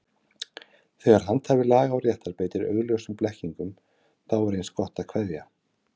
Þegar handhafi laga og réttar beitir augljósum blekkingum, þá er eins gott að kveðja.